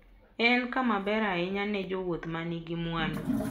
En kama ber ahinya ne jowuoth ma nigi mwandu.